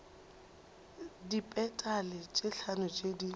dipetale tše hlano tše di